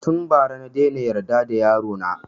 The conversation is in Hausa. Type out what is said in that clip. Tun ba ra na daina yarda da yaro na